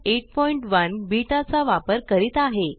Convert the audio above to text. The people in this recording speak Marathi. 081 बेटा चा वापर करीत आहे